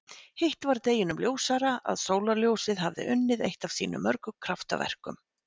Hitt var deginum ljósara að sólarljósið hafði unnið eitt af sínum mörgu kraftaverkum.